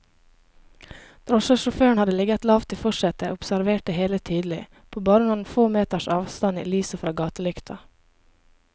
Drosjesjåføren hadde ligget lavt i forsetet og observert det hele tydelig, på bare noen få meters avstand i lyset fra gatelykta.